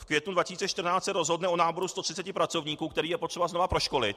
- v květnu 2014 se rozhodne o náboru 130 pracovníků, které je třeba znovu proškolit.